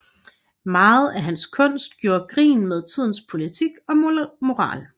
Meget af hans kunst gjorde grin med tidens politik og moral